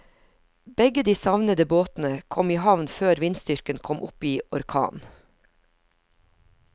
Begge de savnede båtene kom i havn før vindstyrken kom opp i orkan.